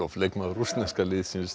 leikmaður rússneska liðsins